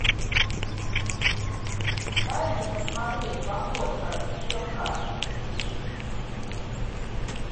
дай мне посмотреть походка стрелка